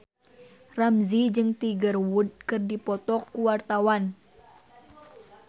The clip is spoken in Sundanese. Ramzy jeung Tiger Wood keur dipoto ku wartawan